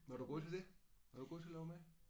Var du god til det? Var du god til at lave mad?